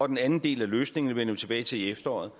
den anden del af løsningen vender vi tilbage til i efteråret